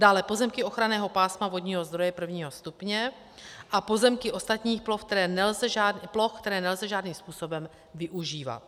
Dále pozemky ochranného pásma vodního zdroje I. stupně a pozemky ostatních ploch, které nelze žádným způsobem využívat.